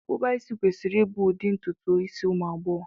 Akpụkpa isi kwesịrị ịbụ ụdị ntutu isi ụmụ agbọghọ